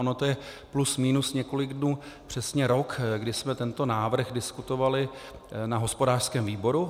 Ono to je plus minus několik dnů přesně rok, kdy jsme tento návrh diskutovali na hospodářském výboru.